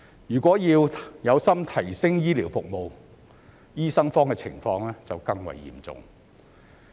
如果是有心提升醫療服務，醫生荒的情況就更為嚴重。